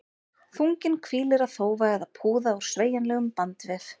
Þunginn hvílir á þófa eða púða úr sveigjanlegum bandvef.